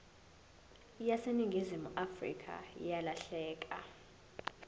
yaseningizimu afrika yalahleka